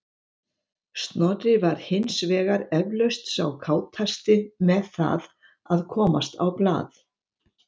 Snorri var hins vegar eflaust sá kátasti með það að komast á blað.